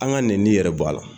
An ka nɛninin yɛrɛ bɔ a la.